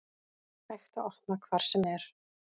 Hægt að opna hvar sem er